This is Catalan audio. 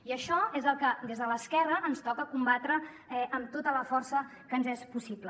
i això és el que des de l’esquerra ens toca combatre amb tota la força que ens és possible